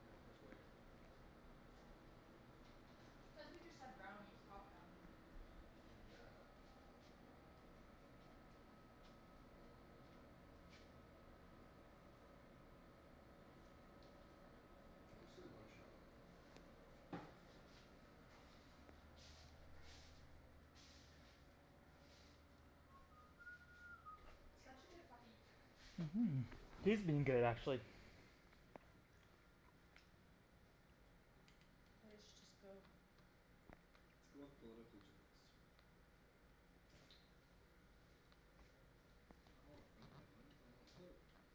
Yeah, I'm kinda sweaty. Cuz we just had brownies, hot brownies. True that. I'm just like munchin' out. Such a good puppy. Mhm, he's been good actually. You guys should just go. Let's go with political jokes. I don't want funny headlines, I want political jokes.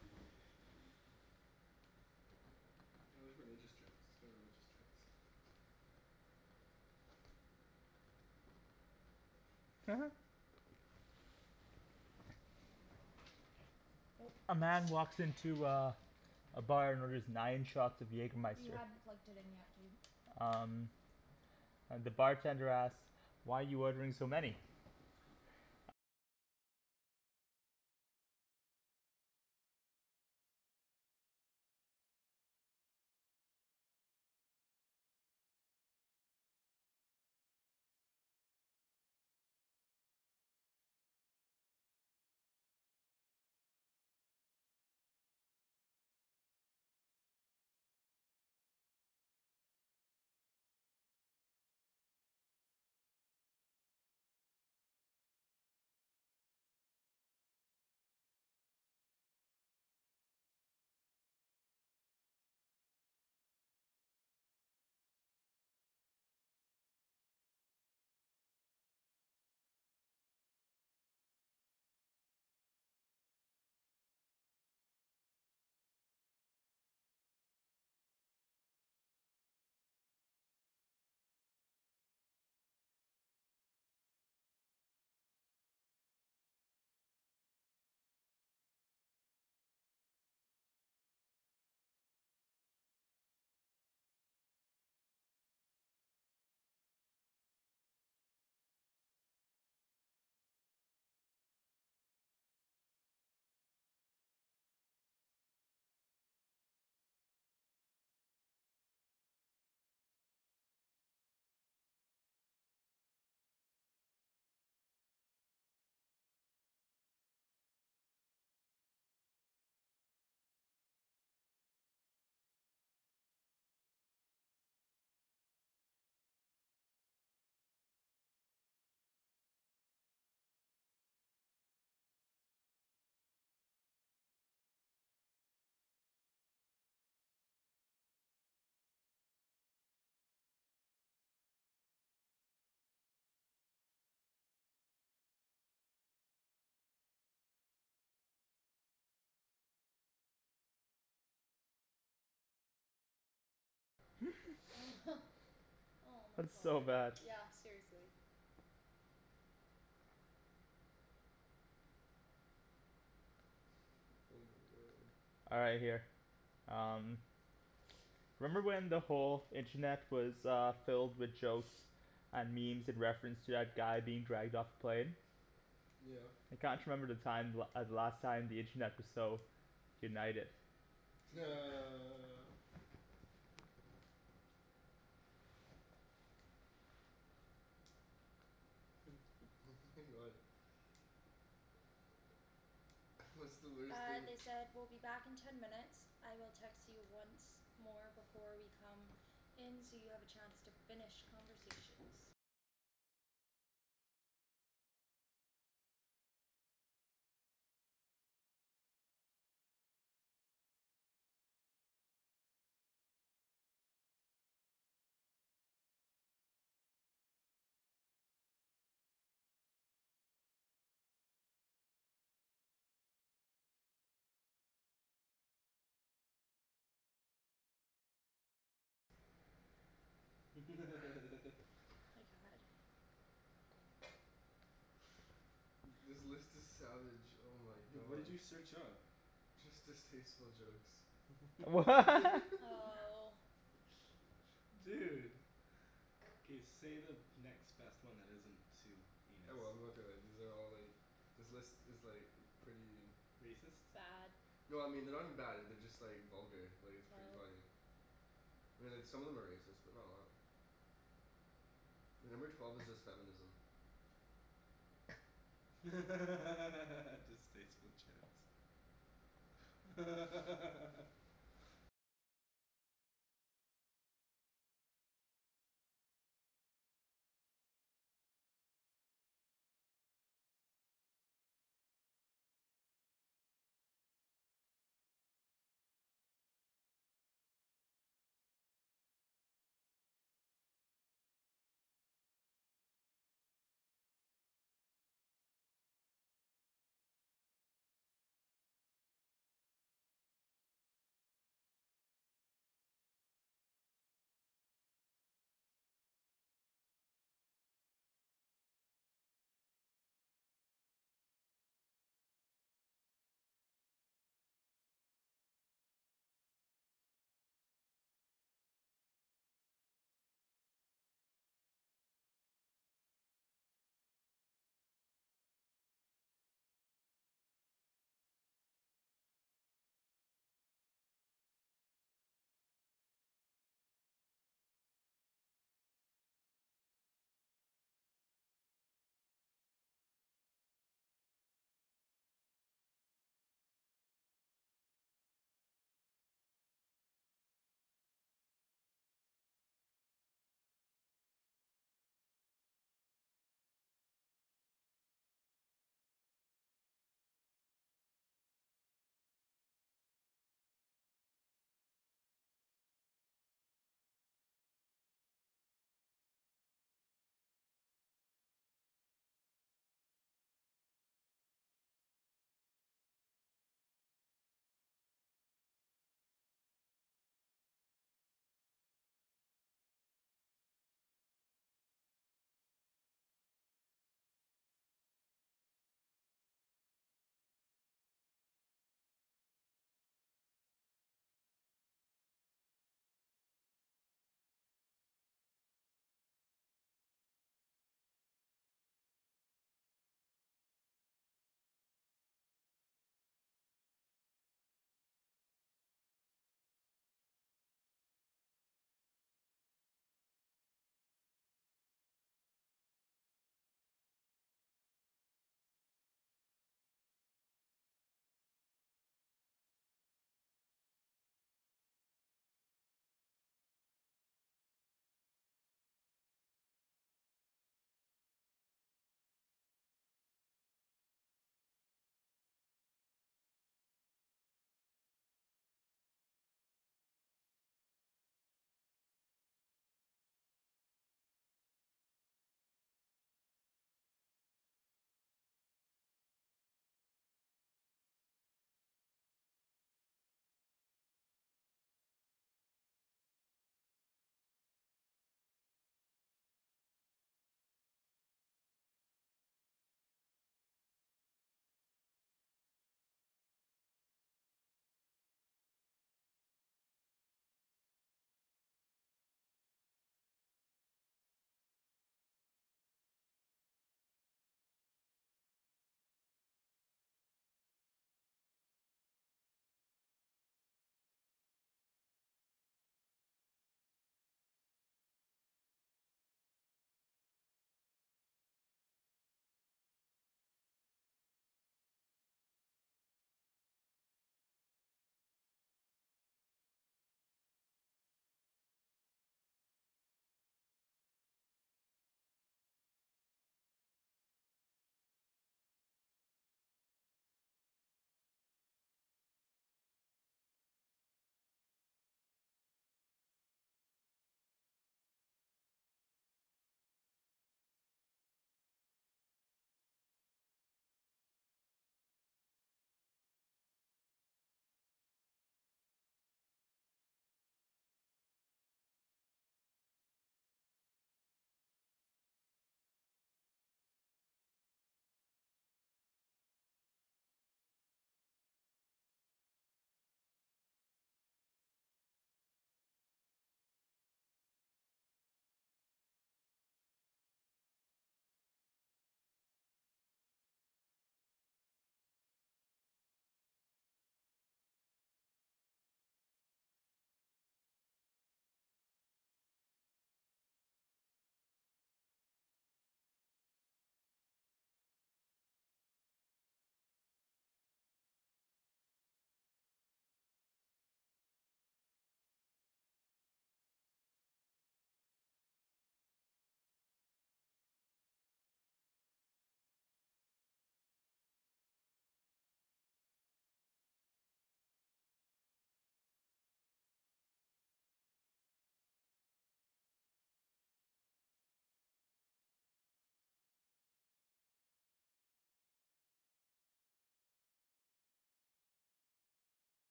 Oh there's religious jokes. Let's go with religious jokes. A man walks into uh a bar and orders nine shots of You Jaegermeister. hadn't plugged it in yet, dude. Um And the bartender asks, "Why are you ordering so many?" Oh my That's so bad. god. Yeah, seriously. Oh my god. All right, here. Um. Remember when the whole internet was uh filled with jokes and memes in reference to that guy being dragged off the plane? Yeah. I can't remember the time the la- the last time the internet was so united. What's the worst Uh thing they said "We'll be back in ten minutes. I will text you once more before we come in so you have a chance to finish conversations." This list is savage, oh my What did god. you search up? Just distasteful jokes. Wha? Oh. Dude. K, say the next best one that isn't too heinous. Oh well I'm gonna throw it, these are all like, this list is like pretty Racist? Bad. No I mean they're not even bad, they're just like vulgar, like it's pretty Oh. funny. I mean like some of them are racist, but not a lot. Like number twelve is just feminism. Distasteful jokes.